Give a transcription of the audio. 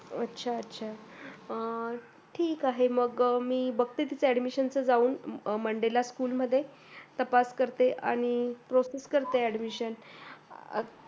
अच्छा अच्छा अं ठीक आहे मंग मी बघते तिथे admission च जाऊन monday ला school मध्ये तपास करते आणि proces करते admission